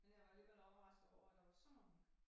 Men jeg var alligevel overrasket over at der var så mange